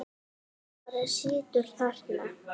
Þú bara situr þarna.